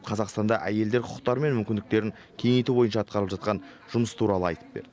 қазақстанда әйелдер құқықтары мен мүмкіндіктерін кеңейту бойынша атқарылып жатқан жұмыс туралы айтып берді